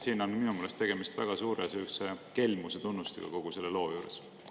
Siin on minu meelest tegemist väga suure kelmuse tunnustega kogu selle loo juures.